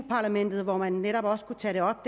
parlamentet hvor man netop også kunne tage det op